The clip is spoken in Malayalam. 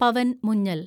പവൻ മുഞ്ഞൽ